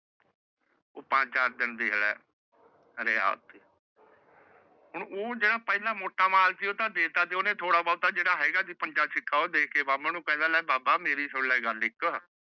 ਓਹ ਪੰਜ ਚਾਰ ਦਿਨ ਦੀ ਹੁਣ ਓਹ ਜੇੜਾ ਪਹਲਾ ਮੋਟਾ ਮਾਲ ਸੀ ਓਹ ਤਾ ਦੇਤਾ ਸੀ ਓਹਨੇ ਥੋੜਾ ਬੋਹਤਾ ਜੇੜਾ ਹੈਗਾ ਸੀ ਪੰਜਾ ਛੀਕਾ ਉਹ ਦੇ ਕੇ ਬਾਮਣ ਨੂੰ ਪਹਿਲਾ ਲੈ ਬਾਬਾ ਮੇਰੀ ਸੁਨ ਲਾ ਗੱਲ ਇਕ